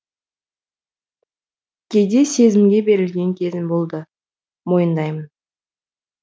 кейде сезімге берілген кезім болды мойындаймын